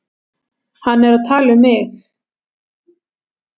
Hann er að tala um mig.